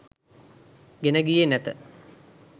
ගෙන ගියේ නැත